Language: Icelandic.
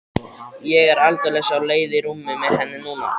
Ég er aldeilis á leið í rúmið með henni núna.